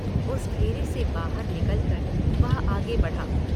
उस घेरे से बाहर निकल कर वह आगे बढ़ा।